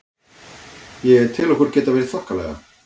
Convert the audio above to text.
Ég tel okkur geta verið þokkalega.